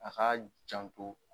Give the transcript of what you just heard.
A k'a janto!